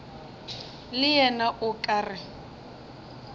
le yena o ka re